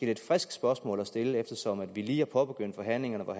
lidt frisk spørgsmål at stille eftersom vi lige har påbegyndt forhandlingerne hvor